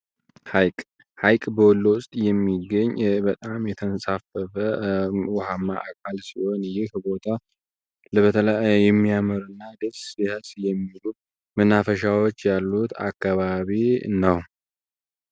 ሐይቅ ሀይቅ በወሎ ውስጥ የሚገኝ በጣም የተንሳፈፈ ውሃማ አካል ሲሆን ይህ ቦታ የሚያምርና ደስ የሚሉ መናፈሻዎች ያሉት አካባቢ ነው።